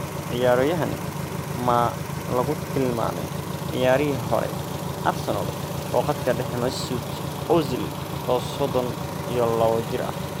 Ciyaroyahan maa lakutilmame ciyariyihi xore Arsenal oo qatka dexe Mezut Ozil oo sodon iyo lawo jiiro.